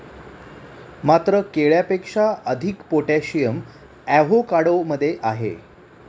मात्र केळ्यापेक्षा अधिक पोटॅशियम अॅव्होकाडो मध्ये आहे.